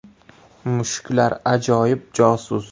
Mushuklar ajoyib josus.